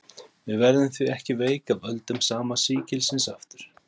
við verðum því ekki veik af völdum sama sýkilsins aftur